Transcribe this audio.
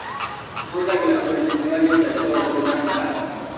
Mahũthagĩra ũrigiti wa gĩcaikoronjĩ na ndawa